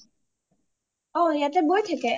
অ ইয়াতে বই থাকে